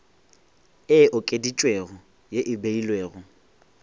e okeditšwego ye e beilwego